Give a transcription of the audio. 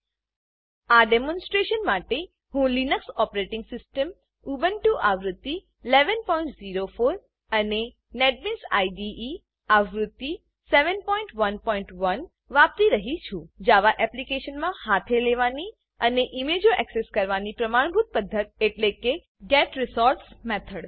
આ demonstration demonstration માટે હું લીનક્સ ઓપરેટીંગ સીસ્ટમ ઉબુન્ટુ આવૃત્તિ 1104 અને નેટબીન્સ આઈડીઈ આવૃત્તિ 711 વાપરી રહ્યી છું જાવા એપ્લીકેશનમાં હાથે લેવાની અને ઈમેજો એક્સેસ કરવાની પ્રમાણભૂત પધ્ધત એટલે getResource મેથડ